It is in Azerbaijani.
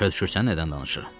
Başa düşürsən nədən danışıram?